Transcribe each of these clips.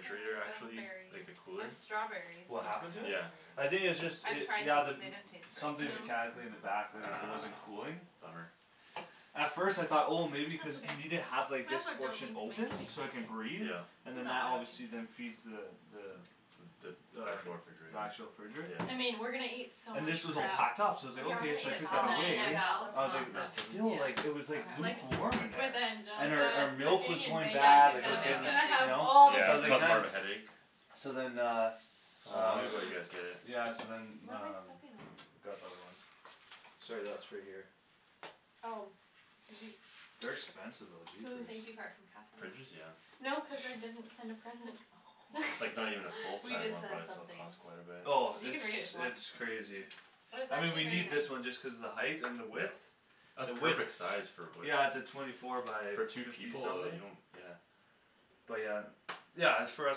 pears, I don't have actually, berries like the I cooler? have strawberries, but What not happened to it? Yeah I raspberries think it's just I've it, tried yeah the m- these, they didn't taste very Something good Mm- No? mechanically in the Ah, back t- mm it wasn't cooling bummer At first I thought oh That's maybe cuz okay, you need I to guess have like I this don't portion need to open, so make it can any breathe Yeah And then No, that I don't obviously need then to feeds the the The The actual the refrigerator actual fridge Yeah I mean, we're gonna eat so And much this was all crap packed up, so I Yeah was like we're gonna okay, eat so I at Val's, took that oh Tonight away at I yeah was Val's? like, let's Mm, not it then nothing? Yeah still like, it was like Like s- okay lukewarm in with there And our our Angelica milk was cooking and going baking, Yeah, bad, she's like it gonna was bake she's getting, gonna something have you Ah know, all the so Yeah I was it's like goodies caused man more of a headache So then uh How Uh long ago you guys get it? Mm Yeah so then What am I um, stepping on? got the other one Sorry that's for here Oh Did you, They're expensive though, jeepers thank you card from Catherine Fridges? Yeah No cuz I didn't send a present Oh Like not even a full We size did one send probably still something costs quite a bit Oh You it's can read it if you want it's crazy It was I mean we actually very need this nice one just cuz the height and the width That's The width perfect size, for what Yeah it's a twenty four by For two fifty people uh, something you don't, yeah But yeah, yeah it's for us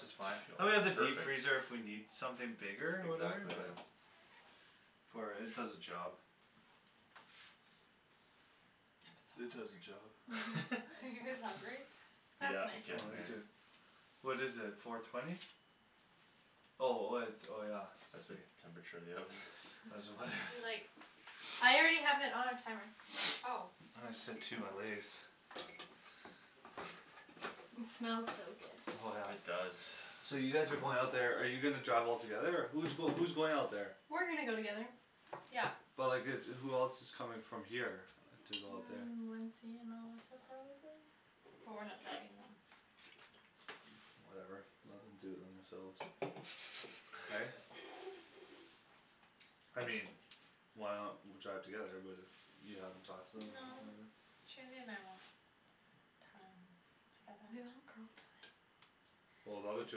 it's fine And we have the Perfect deep freezer if we need something bigger, or whatever, Exactly yeah yeah For it does the job I'm It does the so hungry job Mhm Are you guys hungry? That's Yeah, Oh getting me there nice too What is it, four twenty? Oh oh it's, oh yeah That's the temperature of the oven Do like I already have it on timer Ah Oh I my It smells so Oh yeah good It does So you guys are going out there, are you gonna drive all together or, who's going who's going out there We're gonna go together Yeah But like it's, who else coming from here, to go out there Mm Lindsay and Melissa, probably? But we're not driving them Whatever, let them do it themselves Right? I mean Why not w- drive together, but if you haven't talked to them or No whatever Shandy and I want time together We want girl time Well the other two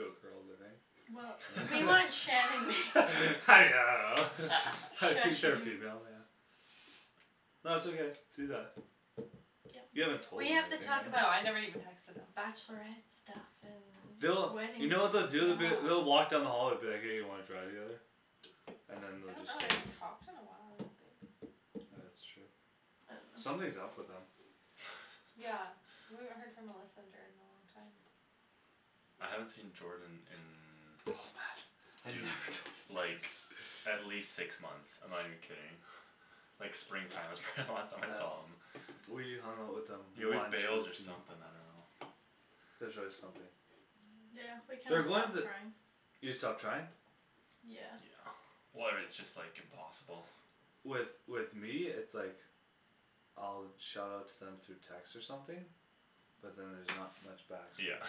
are girls, aren't they Well, Eh we want Shan yeah and I don't know Shush, I think you they're female, yeah No it's okay, do that You Yeah, haven't told we them or have to anything talk No, about I never right bachelorette even texted them stuff and They'll, wedding you know what stuff they'll do, they'll be, they'll walk down the Yeah hall and be like hey you wanna drive together? And then I they'll don't just know, go they haven't talked in a while, like Ah that's true I dunno Something's up with them Yeah, we haven't heard from Melissa and Jordan in a long time I haven't seen Jordan Oh man in Have you dude, ever talked to them like like at least six months, I'm not even kidding Like spring time was probably the last time I saw him We hung out with them He always once bails or something, I dunno There's always something Yeah, we kinda They're going stopped the trying You stopped trying? Yeah Yeah Where it's just like impossible With with me it's like I'll shout out to them through text or something But then there's not much back so Yeah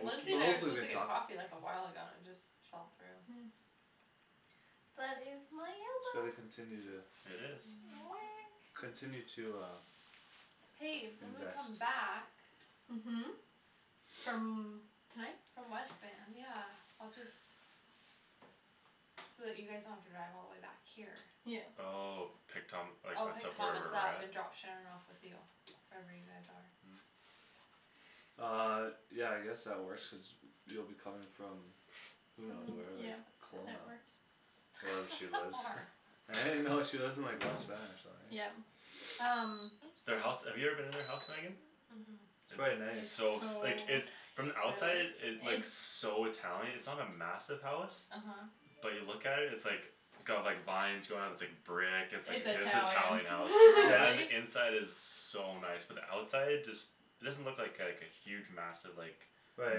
Lindsay But and I were hopefully supposed they to get talk coffee like a while ago and it just fell through Yeah But it's So they continue to It is Weh Continue to uh Hey, when we Invest come back Mhm From tonight? From West Van, yeah, I'll just So that you guys don't have to drive all the way back here Yeah Oh, pick Thom- like I'll us pick up Thomas wherever we're up at? and drop Shan off with you Wherever you guys are Mm Um, yeah I guess that works cuz you'll be coming from Who knows From where, like yeah, that Kelowna works Wherever she How lives far? Right no, she lives in like West Van or something right Yeah, um Their house, Oops have you ever been to their house Megan? Mhm It's quite It's It's nice so so s- like it, from the nice outside Really? it looks so Italian, it's not a massive house Uh huh But you look at it, it's like It's got like vines going up, it's like brick, it's It's like Italian Italian house, Yeah? and Really? the inside is so nice, but the outside just It doesn't look like like a huge massive like Right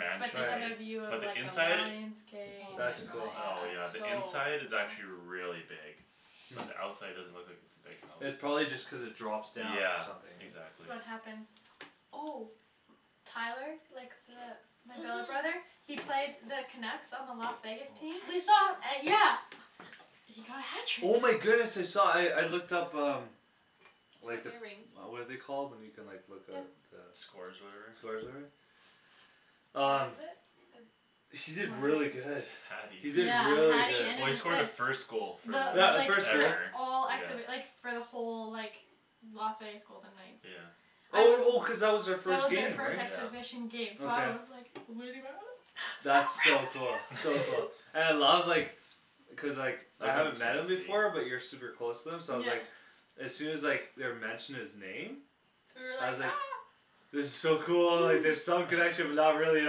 But they have a right right view of But the like a inside? lion's gate and Oh like my That's it's cool Oh yeah, the so inside gosh is actually big really big Mm But the outside doesn't look like it's a big house It probably just cuz it drops down or Yeah, something eh exactly So what happens? Oh Tyler, like the my billet brother, Mhm he played the Canucks on the Las Vegas team We saw An- yeah He got a Oh my hat trick goodness I saw, I I looked up um Like the, Ring what are they called when you can like look up Yep the Scores or Scores whatever? or whatever? What Um is it, the He did really good Hatty He did Yeah, really hatty good and an Well he scored the assist. first goal for Yeah, The the like like, first the goal ever, all acts yeah of it like for the whole like Las Vegas Golden Knights Yeah I Oh was oh cuz that That was was their our first first game right? Yeah exhibition game, so I Okay was like losing my mind, so That's so cool, proud so of cool, and I you love like Cuz like, I I like how haven't met him before but you're the super close to him so I was like Yeah As soon as like they were mentioning his name You were I like was ah like It was so cool, like there's some connection but not really at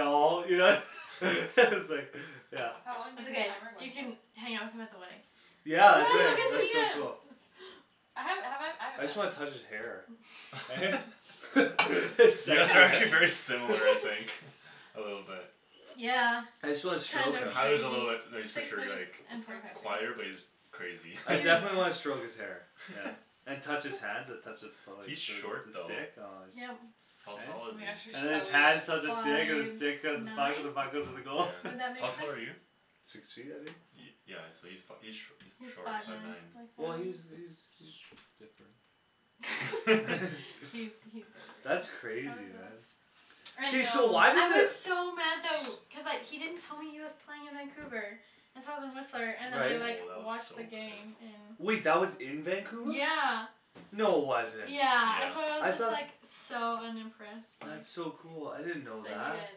all, you know S- like, yeah How long It's did the ok, timer go you can for? hang out with him at the wedding Yeah Yeah, I we'll could, get to that's so meet him cool I haven't, have I, I I haven't met just wanna him touch his hair Eh? It's, You guys that's are right actually very similar, I think A little bit Yeah, I just wanna kind stroke of him Tyler's a little bit, crazy no he's for Six sure minutes like and forty five quieter, Okay but seconds he's crazy I definitely wanna stroke He's his hair, yeah And touch his hands and touch the the He's short though stick, aw it's Yep How tall Eh? Oh is my gosh, you're And then he? his so hands touch the weird stick and the Five stick touch the nine? puck and the puck Would goes to the Yeah, goal that how make tall are you? sense? Six feet I think? Yeah so he's fi- he's sh- he's He's short, five five nine, yeah Well nine he's he's he's sh- different He's he's different, how That's crazy does it look? man I I Hey so know, know why I did the was s- so mad tha- w- cuz like he didn't tell me he was playing in Vancouver and so I was in Whistler Oh and then I Right like that looks watched so the good game in Wait that was in Vancouver? Yeah No wasn't Yeah, and so I was I Yeah just thought like, so unimpressed like That's so cool, I didn't know That that he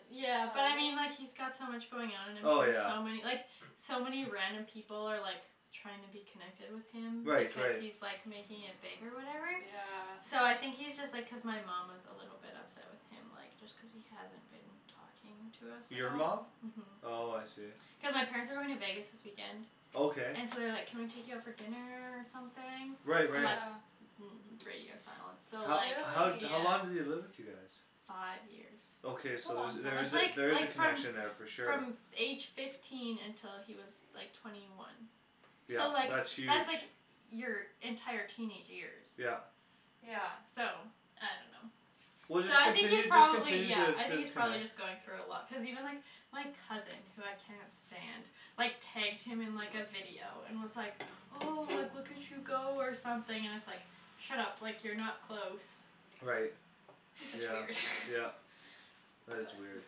didn't Yeah, but tell I mean you? like he's got so much going on and then Oh there's yeah so many, like so many random people are like trying to be connected with him Right because right he's like making it big or whatever Yeah So I think he's just like cuz my mom was a little bit upset with him like just cuz he hasn't been talking to us at Your all mom? Mhm Oh I see Cuz my parents are going to Vegas this weekend Okay And so they're like can we take you out for dinner or something? Right And like right Yeah mm it's radio silence so How like how how long did he Really? live with you guys? Five years Okay That's a so there's long there time That's is a, like there is like a from connection there for sure from f- age fifteen until he was like twenty one So Yeah, like, that's huge that's like your entire teenage years Yeah Yeah So I dunno Well So just I think he's continue, just probably continue yeah, t- I to think he's probably connect just going through a lot, cuz even like, my cousin, who I cannot stand, like tagged him in like a video and was like oh, like look at you go or something and it's like Shut up, like you're not close Right That's just Yeah weird yeah That is weird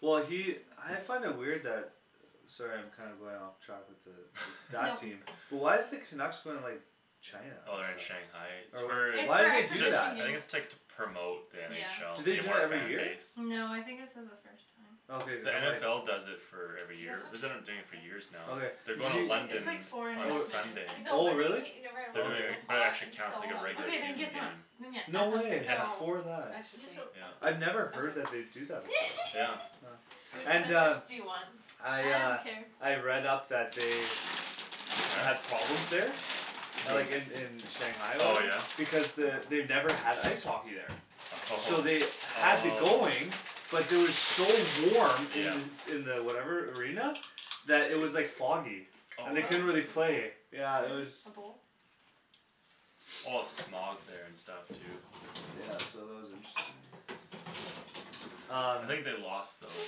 Well he, I find it weird that Sorry I'm kinda going off track with the, with that team, but why is the Canucks going like China Oh they're in Shanghai, it's Or whatever, for, It's why'd for they do exhibition ju- that? I think it's like to game promote the Do NFL, to they Yeah gain do more that every year? fanbase No, I think this is a first time Okay cuz The then like NFL does it for every Do you guys year, want they've been like doing it chips for and years salsa? now Okay, They're did going to you Wait, it's London like four and a on Oh, half Sunday I minutes know oh but then you really? can't eat it right They're away cuz doing it's Okay so it, but it hot, actually I'm counts so like a regular Okat, then season hungry get, then game yeah, No that sounds way, Yeah, No, great for I that Just should don't wait yeah I'd never heard that they'd do that Yeah before What kind And of uh chips do you want? I I don't uh, care I've read up that they Had problems there A Who? like in in Shanghai or Oh whatever, yeah? because the, they've never had ice hockey there So Oh, they had the going, oh but it was so warm in Yeah the s- in the whatever arena, that it was like foggy, Oh and Whoa, they can couldn't you really play, pass? yeah it was Hm? A bowl? A lot of smog there and stuff too Yeah so that was interesting Um I think they lost though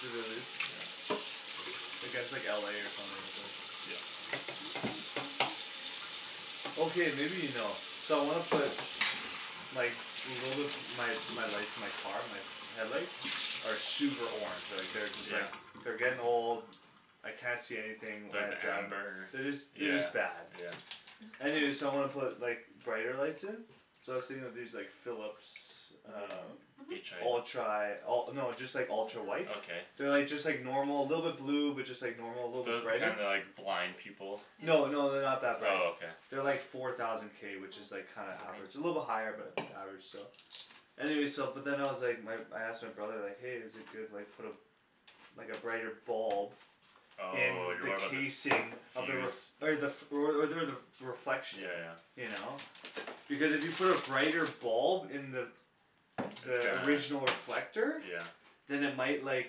Did they lose? Yeah Like it's like LA or something at least Yep Okay maybe you know, so I wanna put Like, little bit, my lights, my car, my headlights? Are super orange, like they're just Yeah? like, they're getting old I can't see anything when Like I drive, amber? they're just they're Yeah just bad yeah Anyway so I wanna put like brighter lights in So I was thinking of these like Philips um H i Mhm Ultra, oh no just like ultra white Okay They're like just like normal, little bit blue, but just like normal, little bit Those the brighter kind that like, blind people Yeah No no they're not that bright Oh okay They're like four thousand k which is like kinda average, a little bit Mhm higher but average still Anyway so but then I was like, my I asked my brother like hey is it good like put a Like a brighter bulb In On you're the worried about the fuse casing of the r- okay the, f- or o- or the reflection Yeah yeah You know? Because if you put a brighter bulb in the It's The gonna original reflector Yeah Then it might like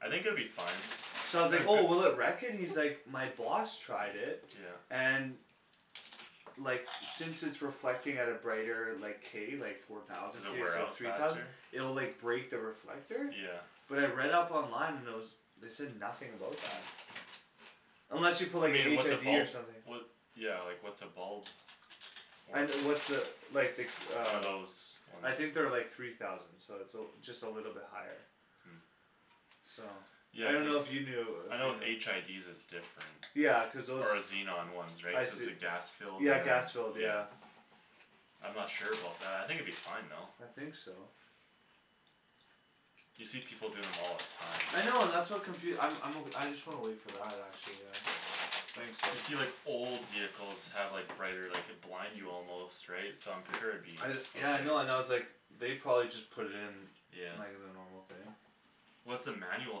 I think it would be fine So I was like oh will it wreck it? He's like my boss tried it, Yeah and Like since it's reflecting at a brighter like, k, like four thousand Does it k wear instead of out three thousand faster? It'll like break the reflector Yeah But I read up online and there was, they said nothing about that Mm Unless you put I like a mean like HID what's a bulb or something What, yeah like what's a bulb, I worth n- what's a, like the One uh of those ones I think they're like three thousand so it's a l- just a little bit higher Mm So I Yeah cuz, dunno if you knew I know with HIDs it's different Yeah, cuz those Or xenon ones right, I cuz see the gas filled, Yeah and gas filled, yeah yeah I'm not sure about that, I think it'd be fine though I think so You see people doing them all the time I know and that's what confu- I'm I'm o- I just wanna wait for that, actually yeah Thanks though You see like old vehicles have like brighter, like could blind you almost, right, so I'm sure it'd be I d- yeah I know and I was okay like They probably just put it in, Yeah like the normal thing What's the manual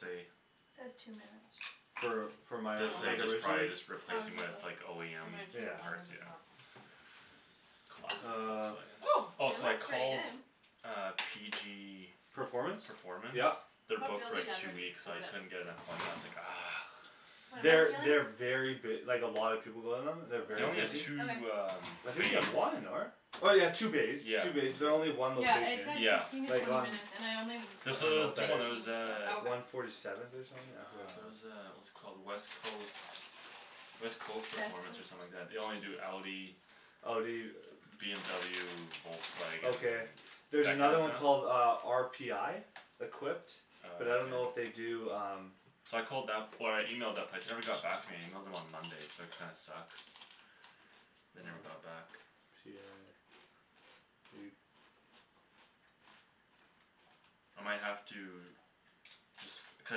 say? Says two minutes For for my a- Does s- say like just original? probably just replacing it with OEM It might Yeah take longer parts, than yeah that Classic Uh Volkswagen Oh Oh Oh it so I looks pretty called good uh PG Performance? Performance? Yeah They're booked Feel for the like two underneath, weeks, cuz I it couldn't get an appointment, I was like ah What am They're I they very feeling? b- like a lot of people go to them, they're Still They kind very of only have busy doughy two um I Okay think they bays have one, n- or? Oh yeah two bays, Yeah two bays, but they're only yeah one Yeah it location, said Yeah sixteen to like twenty on minutes and I only I There's put don't so know there's what the that one there sixteen is was so uh Oh okay One forty seventh or something, yeah Ah, there's a what's it called, West Coast West Coast Performance or something like that, they only do Audi Oh do you? BMW, Volkswagen, Okay There's that another kinda one called stuff? uh, RPI? Equipped But I don't know if they Okay do um So I called that, or I emailed that place, they never got back to me and I emailed them on Monday so that kinda sucks They never got back I might have to Cuz I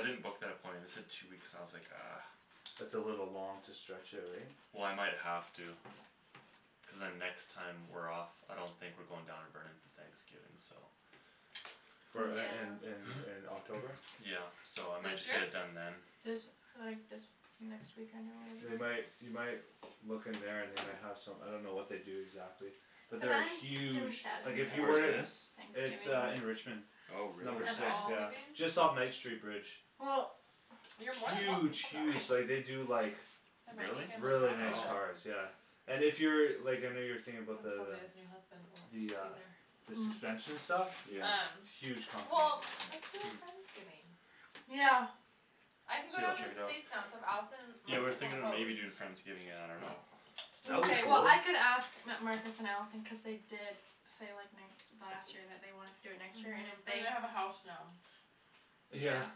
didn't book that appointment, they said two weeks and I was like ah That's a little long to stretch it right? Well I might have to Cuz then next time we're off I don't think we're going down to Burnaby Thanksgiving, so For in in in Yeah in October? Yeah so I might This just get year? it done then This, like this, next weekend or They whatever might, you might Look in there and they might have some, I don't know what they do exactly But there are huge, like if you Where were is to this? It's uh in Richmond Thanksgiving Oh Have really? Number you got six, friends yeah, leaving? just off Knight street bridge Well You're more than welcome Huge to come to us huge, like they do like There might be Really? family Really drama, nice Oh but cars, yeah And if you're, like I know you were thinking about Cuz the the Sylvia's new husband will be The uh there The Mm suspension stuff? Yeah Um, Huge company well let's do a Hm friendsgiving Yeah I can go Sweet I'll down to check it the out States now so if Allison and Yeah we were Marcus wanna thinking of host maybe doing friendsgiving, I dunno That would be Mkay well cool I could ask M- Marcus and Allison cuz they did say like n- last year that they wanted to do it next year and if Mhm, they and they have a house now Yeah Yeah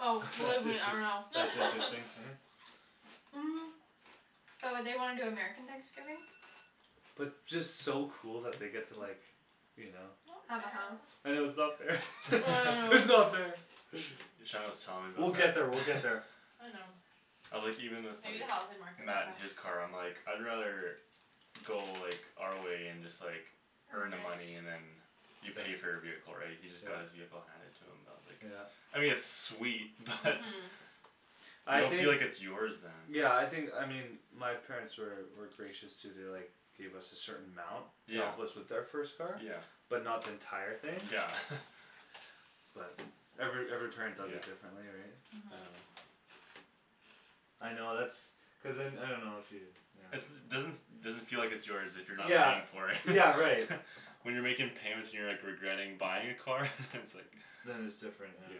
Oh believe That's me I interest- know that's interesting, yeah Mm But would they wanna do American Thanksgiving? But just so cool that they get to like You know Have a house I know it's not fair I it's know not fair Shandryn was telling me We'll about get that there, we'll get there I know I'm like even with Maybe the like housing market will Matt in crash his car, I'm like I'd rather Go like, our way and just like Earn earn the money it and then You pay for your vehicle right, he just got his vehicle handed to him, I was like Yeah I mean it's sweet, but You I don't think feel like it's yours then Yeah I think, I mean my parents were were gracious too, they like Gave us a certain amount to Yeah help us with our first car Yeah But not the entire thing Yeah But every every parent does Yeah it differently right Mhm I know that's Cuz then I dunno if you, you know It's doesn- doesn't feel like it's yours if you're not Yeah, paying for it yeah right When you're making payments and you're like regretting buying a car? it's like Then it's different, yeah Yeah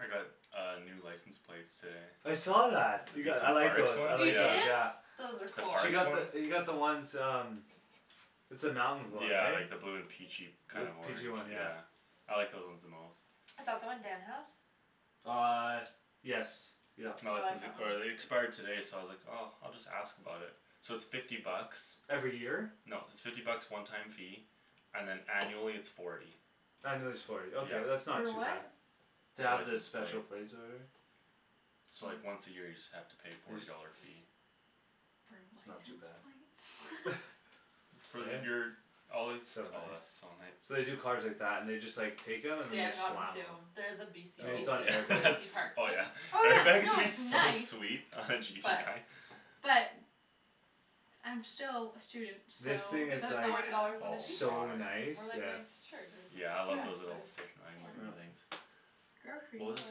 I got a new license plate today I saw that. You got, I like Parks those, I one? You like those Yeah did? yeah Those are The cool She parks got one? the, you got the ones um It's the mountain one Yeah right? like the blue and peachy Blue kind of orange, peachy one yeah yeah I like those ones the most Is that the one Dan has? Uh yes yup No I this is like the, that one or they expired today so I was like oh, I'll just ask about it So it's fifty bucks Every year? No it's fifty bucks one time fee, and then annually it's forty Annually it's forty, ok Yeah that's not For too what? bad To The have the license special plate plates or whatever So like once a year you just have to pay forty dollar fee For That's not too bad license plates? For Eh? your, all It's it's so oh that's nice so nice So they do cars like that and just like take them and then they Dan got one slam too, them they're the I BC mean it's BC not Oh an yeah BC that's parks oh one yeah Oh yeah, no it's so nice sweet But But I'm still a student, so This You thing could is spend like forty dollars on a pizza, So Oh my nice, or like a yeah nice shirt Yeah I or Yeah love dress those or little station wagon pants Mm things What was I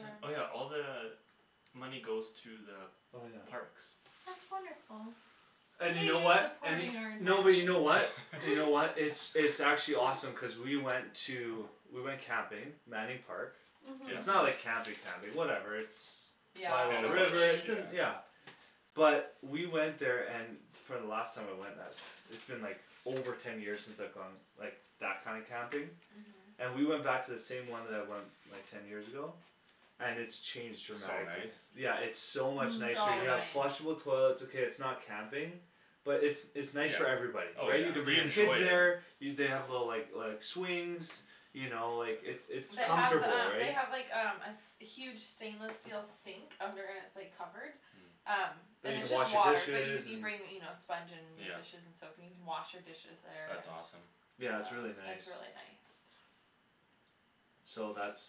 saying? Oh yeah, all the Money goes to the Oh yeah parks That's wonderful And you know what, and y- supporting no but you know what? our You know what, environment it's it's actually awesome cuz we went to, we went camping, Manning Park Mhm It's Yep not like camping Mhm camping, whatever it's By a Yeah, In little at the the bush, river, it's rivers in, yeah yeah But we went there and for the last time I went that, it's been like over ten years since I've gone like, that kind of camping Mhm And we went back to the same one that I went, like ten years ago? And it's changed So dramatically, nice yeah it's so much nicer So you Mm have Yeah nice flushable toilets okay it's not camping But it's it's nice Yeah, for everybody, oh right yeah, you can bring you your kids enjoy there it You they have the like like swings You know like it's it's They have the comfortable um they right have like um a s- huge stainless steel sink, under and it's like covered Um Mm That And you it's can just wash your water, but you dishes, c- you and bring you know sponge and your Yeah dishes and soap in, you can wash your dishes there That's awesome Yeah it's Uh, really nice it's really nice So that's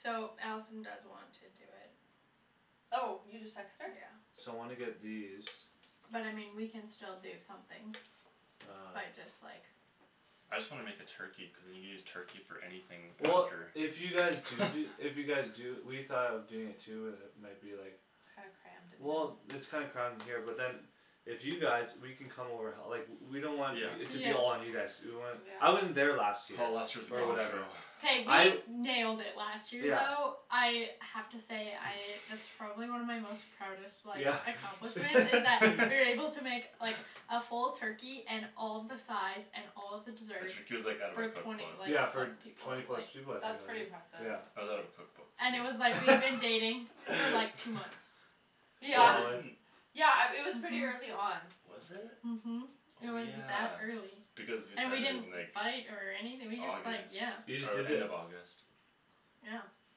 So Allison does want to do it Oh, you just texted her? Yeah So wanna get these But I mean we can still do something, by Um just like I just wanna make a turkey, cuz then you can just use turkey for anything Well after if you guys do do, if you guys do, we thought of doing it too but then it might be like It's kinda crammed in Well here it's kinda crammed in here but then If you guys, we can come over h- like, we don't want Yeah y- Yeah it to be all on you guys to do, we want, I wasn't Yeah there last year, Oh last year was a or gong show whatever K I we nailed it last year Yeah though, I have to say I, that's probably one of my most proudest like Yeah accomplishments, is that we were able to make like A full turkey and all of the sides and all of the desserts, like out of her for twenty, cookbook like Yeah for plus people, twenty like plus people I think That's pretty like impressive yeah Was out of a cookbook And it was like we had been dating for like two months Yeah Solid Yeah um, it was pretty Mhm early on Mhm It Oh was yeah, that early, because you and we started didn't in like fight or anything we just like, August, yeah You just oh did end it of August Yeah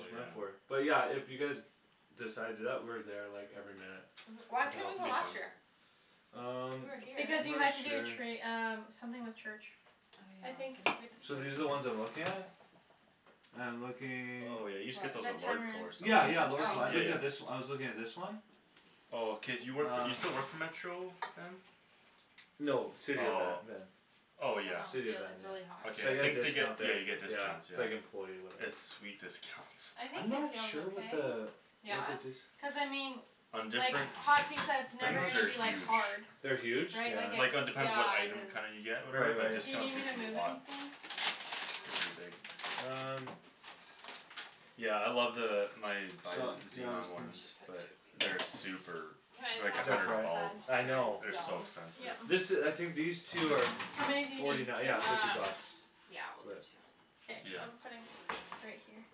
Oh yeah but yeah, if you guys Decide to do that, we're there like every minute Mhm why We can couldn't help you It go you be last fun year? Um, We were here Because you had not to do sure tra- um, something with church I I think uh, So these are I'm the ones I'm looking at? I'm looking Oh yeah you just get those at What Lordco or Yeah, yeah, something Lordco- Oh I looked at this, I was looking at this one Oh cuz you work for, you still work Uh for Metro Van? No, City of Van, Oh yeah Oh I yeah dunno, City of feel Van, it, it's really hot yeah Okay So I I get a think they get, discount yeah there, you get yeah, discounts, it's yeah like employee or whatever it's sweet discounts I I'm think it not feels sure what okay the, what Yeah? the d- Cuz I mean On like, different hot pizza it's I'm never things not s- gonna they're be like huge hard They're huge? Right, Yeah like Like it depends what Yeah, it it item is kinda you get or whatever, Right but right Do you need discount's me to usually move a lot anything? They're pretty big Um Yeah I love the, my my Su- Yeah I was xenon think- We ones should put two but of these they're in super, Can I they're just like have a the They're hundred a hot prolly, bulb pads I for know They're the so stove? expensive This Yeah i- I think these two are, How many do f- you need, forty nine, two? yeah fifty Um, bucks yeah we'll do But two K, Yeah I'm putting, right here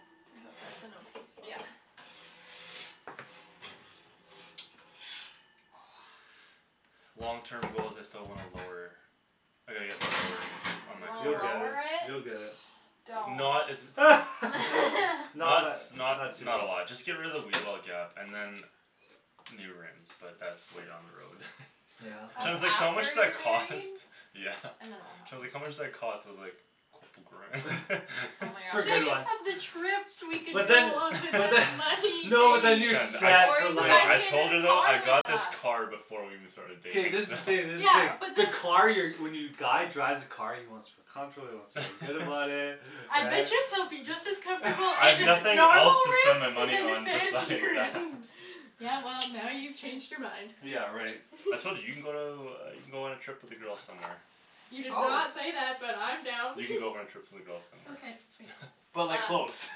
I hope that's an okay Yeah spot Long terms goals I still want a lower I gotta get it lowered, on You my wanna You'll car get it, lower it? you'll get it Don't Not as Not Not tha- s- not not, too not a lot, just get rid of the wheel well gap and then New rims, but that's way down the road Yeah Shan's That's like so how much after that you're married cost? Yeah And then it'll Shan's like happen how much does that cost, I was like Oh my For good Think gosh ones of the trips we could But go then on with but then that no but money, then you're babe Shan, I, set Or for you could life no buy I right told her Shandryn a though, car I with got this that car before we even started K dating this is the thing this is the Yeah thing but the the car you're, when you guy drives a car he wants to feel comfortable, he wants to feel good about it, I bet right you he'll be just as comfortable in I've a- nothing else normal to spend my money rims than on fancy besides that rims Yeah well, now you've changed your mind Yeah right I told you, you can go to, you can go on a trip with the girls somewhere You did not Probab- say that, but I'm down You can go on a trip with the girls somewhere Okay sweet But like Um close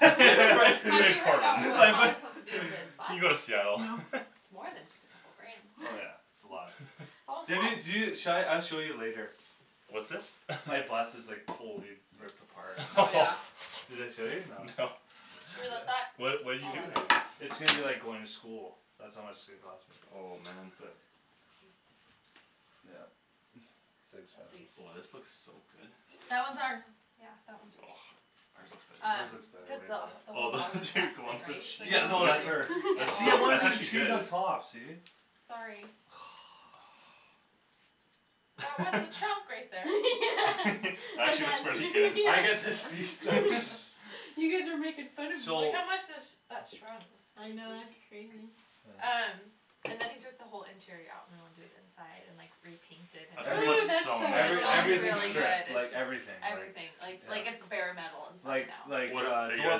right, Have you heard Portland about what like th- Thomas wants to do with his bus? You can go to Seattle It's more than just a couple grand Oh yeah, it's a lot All Maybe y- do, set sha- I'll show you later What's this My bus is like totally ripped apart Oh yeah Did I show you, no No Should we let that What, what you do I'll in add it here It's going to be like going to school That's how much it's gonna cost me, Oh man but Yep it's too At expensive Oh this least looks so good That one's ours Yeah, that one's yours Ours Um, Ours looks looks better, better cuz way the wh- better the Oh whole those bottom is rusted lumps of right, so cheese, Yeah no that's her that's See I so, wanted that's to do actually cheese on good top, see Sorry That was the chunk right there Actually looks Yeah pretty good I get this piece though You guys were making fun of me Like So how much has that shrunk I S- know, that's crazy crazy Uh Um, and then he took the whole interior out and went and did inside and like, repainted That's gonna Every- Ooh look that's so so It still nice every, though, when looks you much get it everything really done good, fun stripped, it's like just everything, everything, like like it's Yeah bare metal inside Like now like What a- uh are you door guys